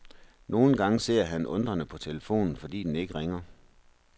Nogle gange ser han undrende på telefonen, fordi den ikke ringer.